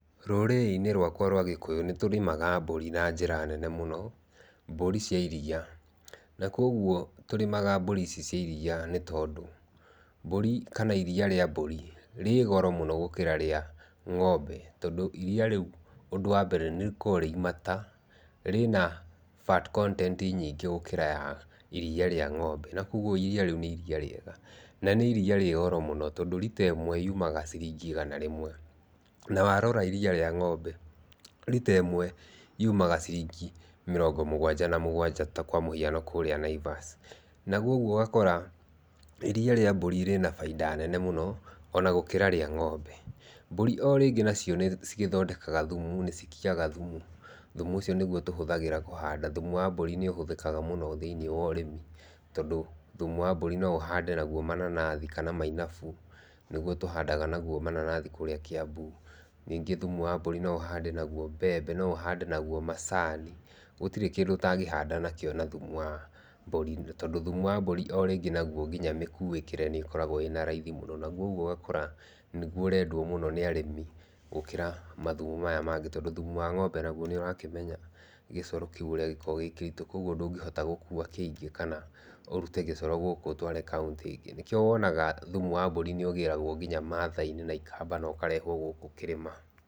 Rũrĩrĩ-inĩ rwakwa rwa gĩkũyũ nĩ tũrĩmaga mbũri na njĩra nene mũno, mbũri cia iria, na kwoguo tũrĩmaga mbũri ici cia iria nĩ tondũ, mbũri kana iria rĩa mbũri rĩ goro mũno gũkĩra rĩa ng'ombe, tondũ iria rĩu ũndũ wa mbere nĩ rĩkoragwo rĩ imata, rĩna fat content gũkĩra ya iria rĩa ng'ombe, na kwoguo iria rĩu nĩ iria rĩega na nĩ iria rĩa goro mũno tondũ rita ĩmwe yumaga ciringi igana rĩmwe na warora iria rĩa ng'ombe rita ĩmwe yumaga ciringi mĩrongo mũganja na mũgwanja kwa mũhiano kũrĩa Naivas, na kwoguo ũgakora iria rĩa mbũri rĩna baita nene mũno ona gũkĩra rĩa ng'ombe, mbũri o rĩngĩ nĩ cigĩthondekaga thumu, nĩ cigĩkiaga thumu, thumu ũcio nĩguo tũhũthagĩra kũhanda, thumu wa mbũri nĩ ũhũthĩkaga mũno thĩinĩ wa ũrĩmi, tondũ thumu wa mbũri no ũhande naguo mananathi, kana Nĩguo tũhanda naguo mananathi kũrĩa Kĩambu, ningĩ thumu wa mbũri no ũhande naguo mbembe, no ũhande naguo macani, gũtirĩ kĩndũ ũtangĩhanda nakĩo na thumu wa mbũri, tondũ thumu wa mbũri o rĩngĩ naguo nginya mĩkuĩkĩre nĩkoragwo ĩna raithi mũno, kwoguo ũgakora nĩguo ũrendwo mũno nĩ arĩmi, gũkĩra mathumu maya mangĩ, tondũ thumu wa ng'ombe naguo nĩ ũrakĩmenya gĩcoro kĩu gĩkĩritũ kwoguo ndũngĩhota gũkua kĩingĩ kana ũrute gĩcoro gũkũ ũtware kaũntĩ ĩngĩ, nĩkĩo wonaga thumu wa mbũri nĩ ũgĩragwo nginya mathai-inĩ, ikamba no karehwo gũkũ kĩrĩma.